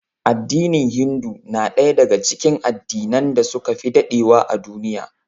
Addinin Hindu na daya daga cikin addinan da suka fi dadewa a duniya